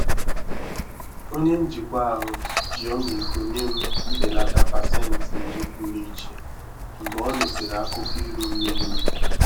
Onye njikwa ahụ ji ọmịiko nye m mbelata pasentị iri pụrụ iche mgbe ọ nụsịrị akụkọ iru mmiri m.